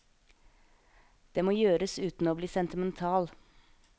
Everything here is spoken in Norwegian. Det må gjøres uten å bli sentimental.